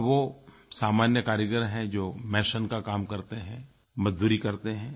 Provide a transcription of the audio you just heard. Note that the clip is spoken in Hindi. अब वो सामान्य कारीगर हैं जो मेसों का काम करते हैं मज़दूरी करते हैं